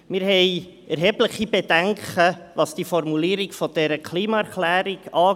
Wir haben erhebliche Bedenken, was die Formulierung dieser Klimaerklärung angeht.